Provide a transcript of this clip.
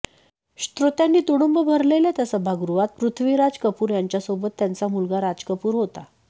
श्रोत्यांनी तुडुंब भरलेल्या त्या सभागृहात पृथ्वीराज कपूर ह्यांच्यासोबत त्यांचा मुलगा राज कपूर होता